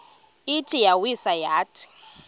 ithi iyawisa yathi